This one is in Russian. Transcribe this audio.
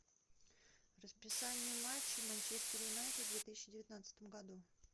расписание матчей манчестер юнайтед в две тысячи девятнадцатом году